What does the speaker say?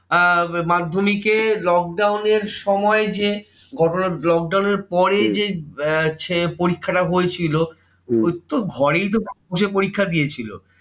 আহ মাধ্যমিকে lockdown এর সময় যে ঘটনা lockdown এর পরেই যে আহ পরীক্ষা টা হয়েছিল পরীক্ষা দিয়েছিলো।